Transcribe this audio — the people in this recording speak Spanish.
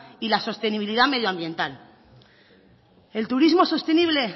y la sostenibilidad medioambiental el turismo sostenible